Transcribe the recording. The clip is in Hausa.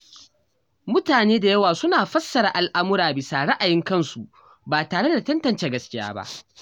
Mutane da yawa suna fassara al’amura bisa ra’ayin kansu ba tare da tantance gaskiya ba.